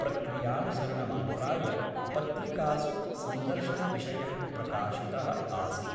प्रक्रियानुसरण मात्राय पत्रिकासु सन्दर्शनविषयः प्रकाशितः आसीत् ।